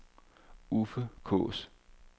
Uffe Kaas